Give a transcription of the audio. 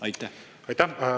Aitäh!